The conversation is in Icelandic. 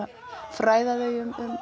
fræða þau um